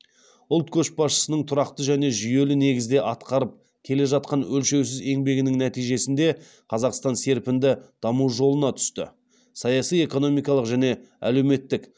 ұлт көшбасшысының тұрақты және жүйелі негізде атқарып келе жатқан өлшеусіз еңбегінің нәтижесінде қазақстан серпінді даму жолына түсті саяси экономикалық және әлеуметтік